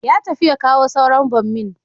Ya tafi ya kawo sauran bommin